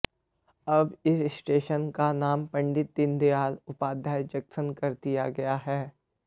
अब इस स्टेशन का नाम पंडित दीनदयाल उपाध्याय जंक्शन कर दिया गया है